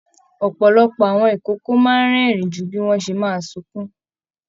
Ọpọlọpọ àwọn ikòkò máa n rẹ́rìn jù bí wọn ṣe máa sunkún.